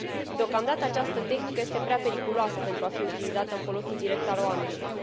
Deocamdată, această tehnică este prea periculoasă pentru a fi utilizată în folosul direct al oamenilor.